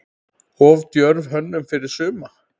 Of djörf hönnun fyrir suma?